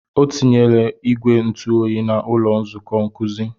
O tinyela ìgwè ntụ oyi n'ụlọ nzukọ nkuzi.